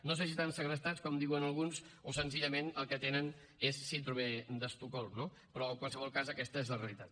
no sé si estan segrestats com diuen alguns o senzillament el que tenen és síndrome d’estocolm no però en qualsevol cas aquesta és la realitat